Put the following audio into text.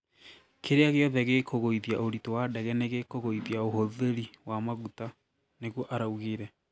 Kĩria gĩothe gĩkugũithia ũritũ wa ndege nĩgĩkũgũithia ũhũthĩri wa magũta", nĩguo araũgire